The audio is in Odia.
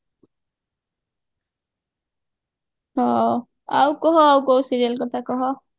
ହଁ ଆଉ କହ ଆଉ କଉ serial କଥା କହ